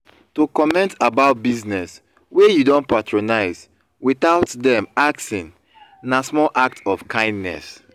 to comment about business wey you don patronise without dem asking na small act of kindness